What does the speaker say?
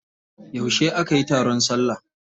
Yauce aka yi taron salla?